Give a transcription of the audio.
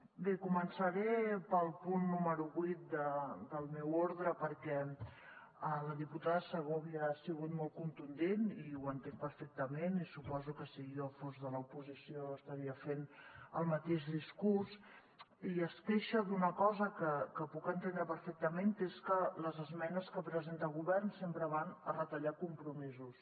bé començaré pel punt número vuit del meu ordre perquè la diputada segovia ha sigut molt contundent i ho entenc perfectament i suposo que si jo fos de l’oposició estaria fent el mateix discurs i es queixa d’una cosa que puc entendre perfectament que és que les esmenes que presenta el govern sempre van a retallar compromisos